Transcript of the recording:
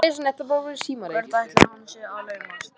Hvert ætli hann sé að laumast?